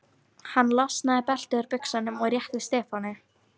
Hann losaði beltið úr buxunum og rétti Stefáni.